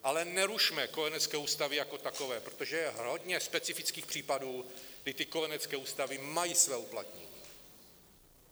Ale nerušme kojenecké ústavy jako takové, protože je hodně specifických případů, kdy ty kojenecké ústavy mají své uplatnění.